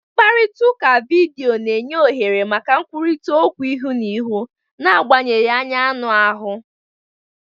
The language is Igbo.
Mkparịta ụka vidiyo na-enye ohere maka nkwurịta okwu ihu na ihu, n'agbanyeghị anya anụ ahụ.